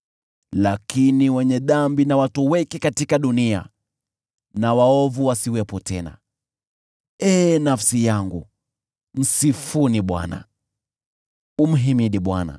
Lakini wenye dhambi na watoweke katika dunia na waovu wasiwepo tena. Ee nafsi yangu, msifu Bwana . Msifuni Bwana .